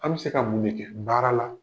An bɛ se ka mun de kɛ baara la?